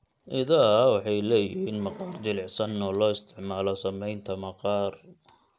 Idaha waxay leeyihiin maqaar jilicsan oo loo isticmaalo samaynta maqaar.